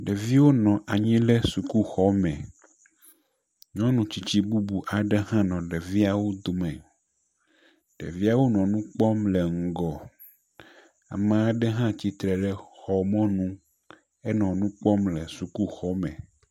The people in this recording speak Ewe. Ɖeviwo nɔ anyi ɖe sukuxɔme. Nyɔnu tsitsi bubu aɖe hã nɔ ɖeviawo dome. Ɖeviawo nɔ nu kpɔm le ŋgɔ. Ame aɖe hã titre ɖe xɔ mɔnu ene nu kpɔm le sukuxɔme.